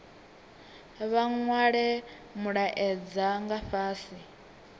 vha nwale mulaedza fhasi nga